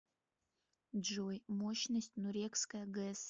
джой мощность нурекская гэс